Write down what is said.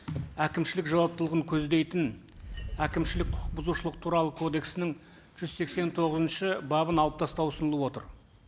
әкімшілік жауаптылығын көздейтін әкімшілік құқық бұзушылық туралы кодексінің жүз сексен тоғызыншы бабын алып тастау ұсынылып отыр